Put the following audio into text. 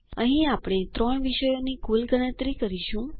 અહીં આપણે ત્રણ વિષયોના કુલ ગણતરી કરીશું